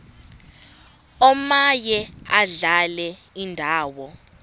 omaye adlale indawo